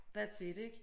That's it ik